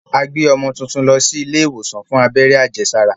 A gbé ọmọ tuntun lọ sí ilé ìwòsàn fún abẹ́rẹ́ àjẹsára.